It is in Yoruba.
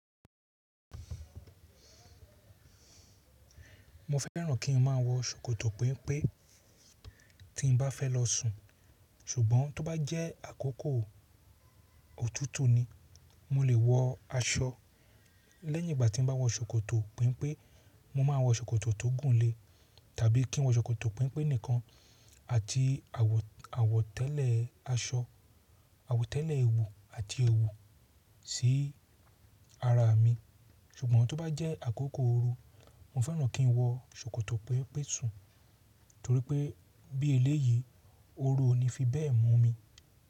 Mo fẹ́ràn kí n má a wọ ṣòkòtò pẹ́mpẹ́ tí n bá fẹ́ lọ sùn, ṣùgbọ́n tó bá jẹ́ àkókò òtútù ni, mo lè wọ aṣọ. Lẹ́yìn ìgbà tí n bá wọ ṣòkòtò pẹ́mpẹ́, mo máa wọ ṣòkòtò tó gùn lè tàbí kí n wọ ṣòkòtò pẹ́mpẹ́ nìkan àti àwọ̀tẹ́lẹ̀ aṣọ, àwọ̀tẹ́lẹ̀ ewu àti ẹwu sí ara mi. Ṣùgbọ́n tó bá jẹ́ àkókò ooru, mo fẹ́ràn kí n wọ ṣòkòtò pẹ́mpẹ́ sùn torí pé bí eléyìí, ooru ò ní fi bẹ́ẹ̀ mú mi.